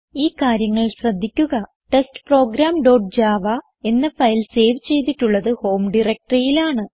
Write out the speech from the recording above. ഈ കാര്യങ്ങൾ ശ്രദ്ധിക്കുക160 ടെസ്റ്റ്പ്രോഗ്രാം ഡോട്ട് ജാവ എന്ന ഫയൽ സേവ് ചെയ്തിട്ടുള്ളത് ഹോം directoryൽ ആണ്